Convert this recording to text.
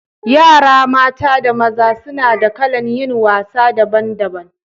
Yara maza da mata suna da kalan yin wasa daban daban.